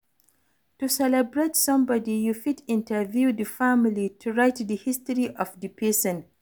To celebrate some body, you fit interview the family to write di history of di person